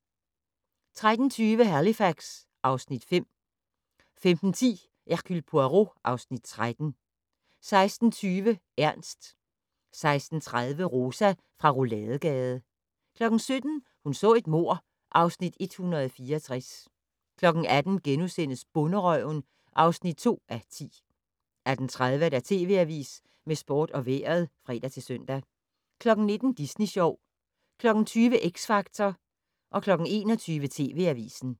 13:20: Halifax (Afs. 5) 15:10: Hercule Poirot (Afs. 13) 16:20: Ernst 16:30: Rosa fra Rouladegade 17:00: Hun så et mord (Afs. 164) 18:00: Bonderøven (2:10)* 18:30: TV Avisen med sport og vejret (fre-søn) 19:00: Disney Sjov 20:00: X Factor 21:00: TV Avisen